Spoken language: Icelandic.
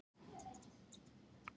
Á sömu slóðum er fjallið Drottning.